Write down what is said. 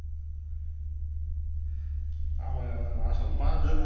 ஆமாங்க ஆமாங்க நான் சும்மா